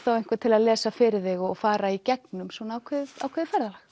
þá einvern til að lesa fyrir þig og fara í gegnum ákveðið ákveðið ferðalag